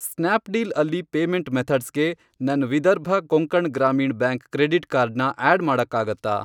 Snapdeal ಅಲ್ಲಿ payment ಮೆಥಡ್ಸ್ಗೆ ನನ್ Vidarbha Konkan Gramin bank credit card ನ ಆಡ್ ಮಾಡಕ್ಕಾಗತ್ತಾ?